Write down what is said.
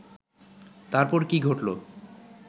তারপর কি ঘটল